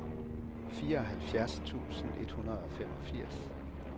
fireoghalvfjerds tusind et hundrede og femogfirs